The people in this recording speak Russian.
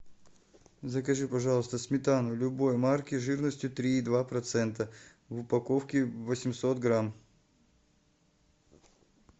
закажи пожалуйста сметану любой марки жирностью три и два процента в упаковке восемьсот грамм